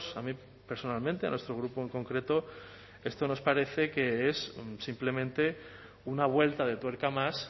a mí personalmente a nuestro grupo en concreto esto nos parece que es simplemente una vuelta de tuerca más